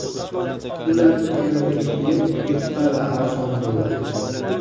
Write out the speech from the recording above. Ular yanada yengil, yupqa va arzon bo‘ldi.